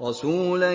رَّسُولًا